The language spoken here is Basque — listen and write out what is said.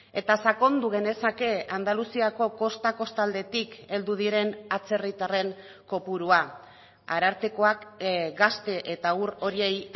eta sakondu genezake andaluziako kosta kostaldetik heldu diren atzerritarren kopurua arartekoak gazte eta haur horiei